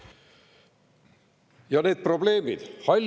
Ja need probleemid!